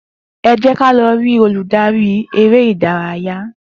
E jé ká lọ rí olùdarí eré ìdárayá